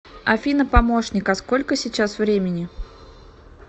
афина помощник а сколько сейчас времени